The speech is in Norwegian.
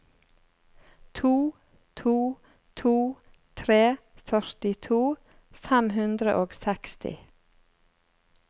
to to to tre førtito fem hundre og seksti